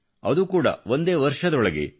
ಅದು ಕೂಡಾ ಒಂದೇ ವರ್ಷದೊಳಗೆ